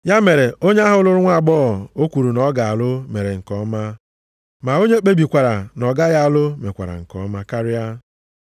Ya mere, onye ahụ lụrụ nwaagbọghọ o kwuru na ọ ga-alụ mere nke ọma, ma onye kpebikwara na ọ gaghị alụ mekwara nke ọma karịa.